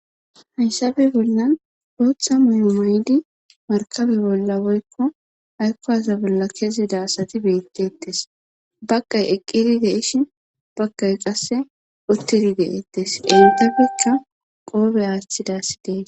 hans bollan gootha mimoydi markabe bolla woykko haykko asa bolla kezida asati beettettes baqay eqqiri deishin bakkay qasse uttiri deeettes intabekka qoobe aaththidassi dees